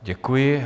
Děkuji.